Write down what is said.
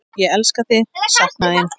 Ég elska þig, sakna þín.